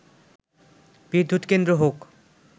বিদ্যুৎ কেন্দ্র হোক